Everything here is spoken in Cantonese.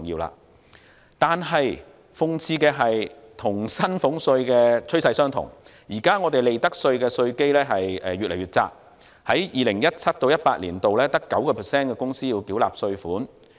然而，諷刺的是，與薪俸稅的趨勢相同，現時利得稅的稅基越來越窄，在 2017-2018 年度只有 9% 的公司要繳納稅款。